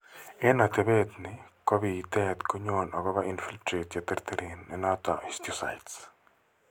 Eng' atepet ni ko biitet ko nyon akopo infiltrate che terteren, ne noton histiocytes.